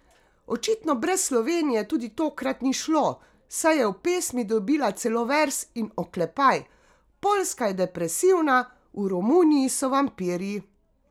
Očitno brez Slovenije tudi tokrat ni šlo, saj je v pesmi dobila celo verz in oklepaj: 'Poljska je depresivna, v Romuniji so vampirji.